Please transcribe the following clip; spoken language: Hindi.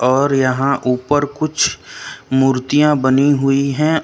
और यहां ऊपर कुछ मूर्तियां बनी हुई है।